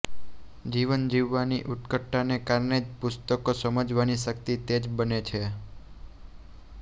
જીવન જીવવાની ઉત્કટતા ને કારણે જ પુસ્તકો સમજવાની શક્તિ તેજ બને છે